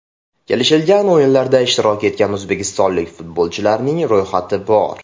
Kelishilgan o‘yinlarda ishtirok etgan o‘zbekistonlik futbolchilarning ro‘yxati bor!